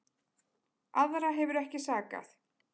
Aðra hefur ekki sakað